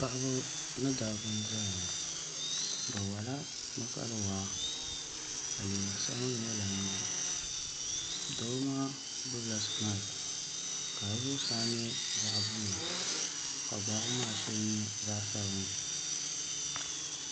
Paɣaba ni dabba n ʒɛya ŋo bi wola bi kali waa ka liiga sabinli ŋo lan di doo maa gbubila maik ka di zuɣusaa nyɛ zaɣ buluu ka gbaabu maa shee nyɛ zaɣ sabinli